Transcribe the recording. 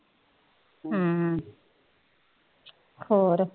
ਹਮ ਹੋਰ